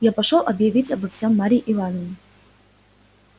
я пошёл объявить обо всём марье ивановне